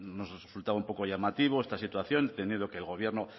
bueno nos resultaba un poco llamativo esta situación entendiendo que el gobierno